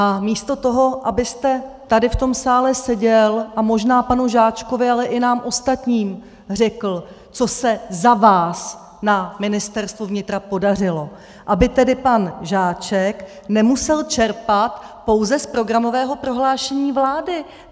A místo toho, abyste tady v tom sále seděl a možná panu Žáčkovi, ale i nám ostatním řekl, co se za vás na Ministerstvu vnitra podařilo, aby tedy pan Žáček nemusel čerpat pouze z programového prohlášení vlády.